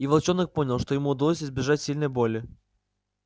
и волчонок понял что ему удалось избежать сильной боли